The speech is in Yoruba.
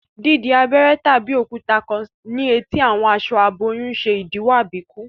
Di abéré tàbí òkúta kán ní eti àwọn aṣọ aboyún ṣe idiwọ àbíkú